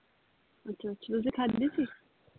ਅੱਛਾ ਅੱਛਾ ਤੁਸੀਂ ਖਾਦੇ ਸੀ?